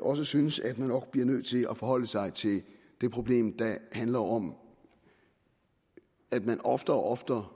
også synes at man nok bliver nødt til at forholde sig til det problem der handler om at man oftere og oftere